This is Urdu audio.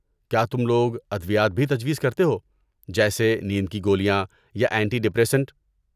کیا تم لوگ ادویات بھی تجویز کرتے ہو، جیسے نیند کی گولیاں یا اینٹی ڈپریسنٹ؟